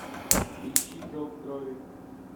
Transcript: ищи зов крови